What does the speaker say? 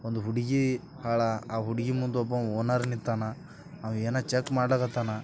ಒಂದು ಹುಡುಗಿ ಬಹಳ್ ಹುಡುಗಿ ಮುಂದೆ ಓನರ್ ನಿಂತಾನ ಏನೋ ಚೆಕ್ ಮಾಡ್ಲಕತ್ತನ್.